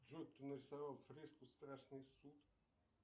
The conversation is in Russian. джой кто нарисовал фреску страшный суд